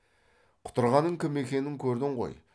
құтырғанның кім екенін көрдің ғой